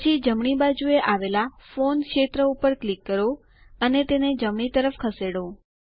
પછી ડાબી બાજુએ આવેલા ફોન ક્ષેત્ર ઉપર ક્લિક કરો અને તેને જમણી તરફ ખસેડો